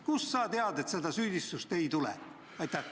Kust sa tead, et seda süüdistust ei tule?